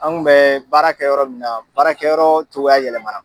An kun bɛ baarakɛ yɔrɔ min na baarakɛyɔrɔ cogoya yɛlɛmana.